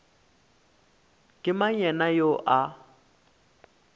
ke mang yena yoo a